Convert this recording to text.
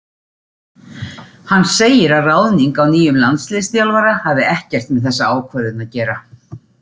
Hann segir að ráðning á nýjum landsliðsþjálfara hafi ekkert með þessa ákvörðun að gera.